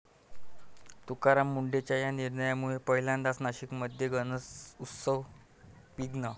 तुकाराम मुंढेंच्या 'या' निर्णयामुळे पहिल्यांदाच नाशिकमध्ये गणेशोत्सवात विघ्न!